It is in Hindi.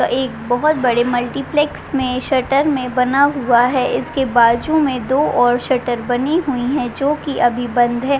एक बहोत बड़े मल्टीप्लेक्स में शटर में बना हुआ है। इसके बाजू में दो और शटर बनी हुईं है जोकि अभी बंद है।